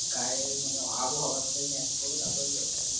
গায়ে আবহাওয়া সাথে ম্যাচ করে তারপরে বেড়াতে হবে।